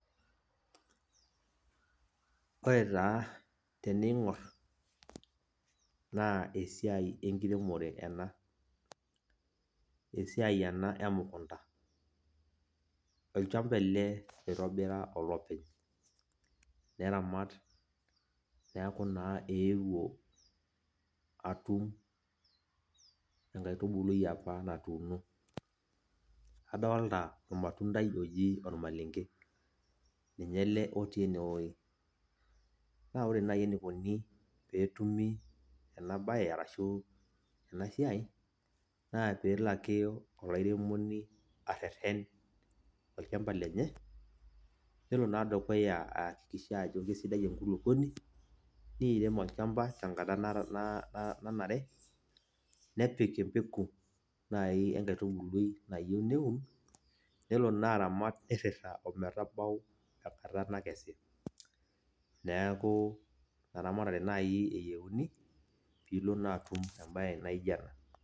ore taa teningor naa esiai enkiremore ena, esiai ena emukunta. olchampa ele oitobira olopeny. neramat neeku naa eewuo atum inkaitubului apa natuuno. kadooltta ormatundai oji ormalenke. ninye ele otii ene wueji. naa ore naaji eneikoni pe etumi ena bae arahu ena siiai, naa pee elo ake olairemoni areten. olchamap lenye, nelo naa ayakikisha ajo kisidai enkuluponi. neirem olchamapa, tenkata nanare. nepik empeku naaji enkaitubului nayieu neun. nelo naa aramat nirita ometabau enkata nayieu nakesi. neeku ina ramatare naaji eyieuni. pee ilo naa atum ebae naijo ena.